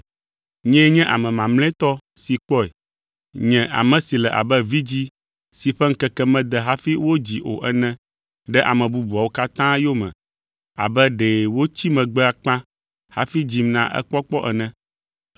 Nyee nye ame mamlɛtɔ si kpɔe; nye ame si le abe vidzĩ si ƒe ŋkeke mede hafi wodzi o ene ɖe ame bubuawo katã yome abe ɖe wotsi megbe akpa hafi dzim na ekpɔkpɔ ene.